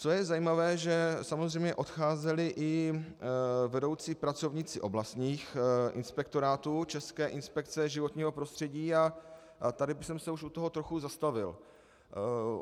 Co je zajímavé, že samozřejmě odcházeli i vedoucí pracovníci oblastních inspektorátů České inspekce životního prostředí, a tady bych se už u toho trochu zastavil.